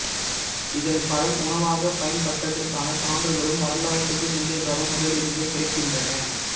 இதன் பழம் உணவாகப் பயன்பட்டதற்கான சான்றுகளும் வரலாற்றுக்கு முந்திய காலம் முதலிருந்தே கிடைக்கின்றன